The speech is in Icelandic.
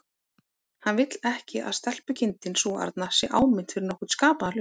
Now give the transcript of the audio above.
Hann vill ekki að stelpukindin sú arna sé áminnt fyrir nokkurn skapaðan hlut.